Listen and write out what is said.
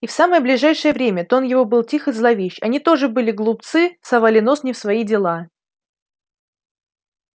и в самое ближайшее время тон его был тих и зловещ они тоже были глупцы совали нос не в свои дела